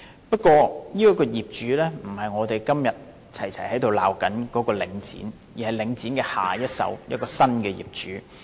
不過，這個業主不是我們今天齊聲責罵的領展房地產投資信託基金，而是領展的下一手，亦即新的業主。